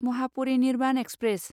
Mahaparinirvan express